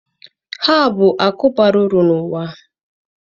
Ha bụ akụ bara uru na ala a.